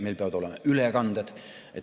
Meil peavad olema ülekanded.